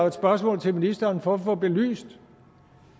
et spørgsmål til ministeren for at få belyst